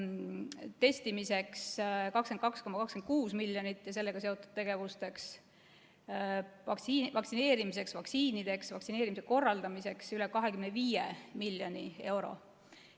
Testimiseks ja sellega seotud tegevusteks 22,26 miljonit, vaktsineerimiseks, st vaktsiinideks, vaktsineerimise korraldamiseks üle 25 miljoni euro.